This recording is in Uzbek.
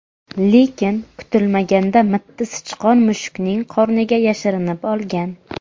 Lekin kutilmaganda mitti sichqon mushuknining qorniga yashirinib olgan.